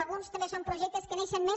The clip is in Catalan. alguns també són projectes que neixen més